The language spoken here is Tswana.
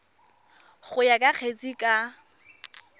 go ya ka kgetse ka